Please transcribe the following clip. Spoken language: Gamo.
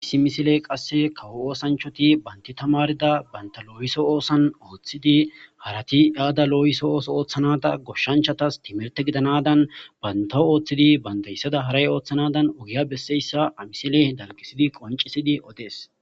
Issi misiley qasi kawo osanchati banti tamarida banta loyisso osan othidi harati iyada oso othanada goshanchtas timite gidanada bantaw othidi haray othanadan ogiya besseysa hamisiley dalgisidi qoncisidi oddes.